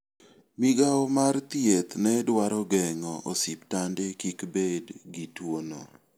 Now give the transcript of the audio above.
Migawo mar thieth ne dwaro geng'o osiptande kik bed gi tuono.